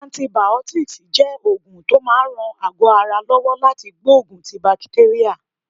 Antibiotics jẹ́ oògùn tó máa ń ran àgọ́ ara lọ́wọ́ láti gbógun ti bakitérà.